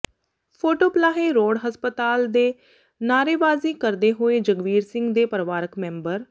photo Palahi road ਹਸਪਤਾਲ ਦੇ ਨਾਅਰੇਵਾਜੀ ਕਰਦੇ ਹੋਏ ਜਗਵੀਰ ਸਿੰਘ ਦੇ ਪਰਿਵਾਰਕ ਮੈਂਬਰ